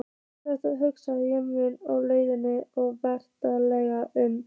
Þetta hugsa ég um á leiðinni með vagninum.